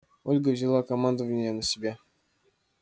ольга взяла командование на себя